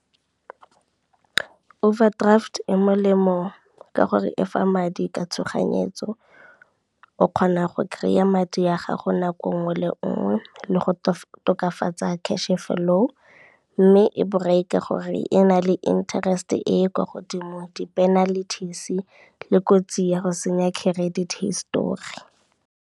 Overdraft e molemo ka gore e fa madi ka tshoganyetso. O kgona go kry-a madi a gago nako nngwe le nngwe le go tokafatsa cash flow, mme e borai ka gore e na le interest-e e kwa godimo di-penalties le kotsi ya go senya credit histori.